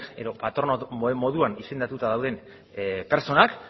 edo patrono moduan izendatuta dauden pertsonak